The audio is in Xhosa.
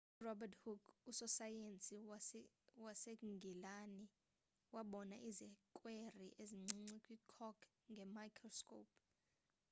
urobert hooke usosayensi wasengilani wabona izikweri ezincinci kwi-cork nge-microscope